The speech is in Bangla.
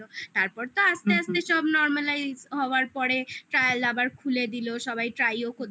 তারপর তো আস্তে আস্তে সব normalised হওয়ার পরে trial আবার খুলে দিলো, সবাই try ও